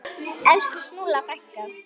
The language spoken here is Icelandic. Elsku Snúlla frænka.